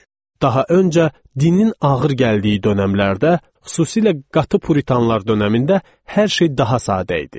Daha öncə, dinin ağır gəldiyi dönəmlərdə, xüsusilə qatı puritanlar dönəmində hər şey daha sadə idi.